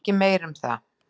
Ekki meir um það.